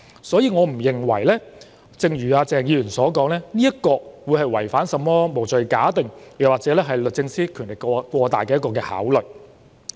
所以，對於鄭議員剛才說這做法違反甚麼"無罪推定"原則或律政司司長權力過大，我並不認同。